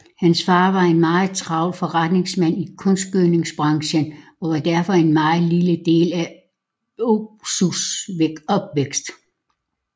Hans far var en meget travl forretningsmand i kunstgødningsbranchen og var derfor en meget lille del af Ozus opvækst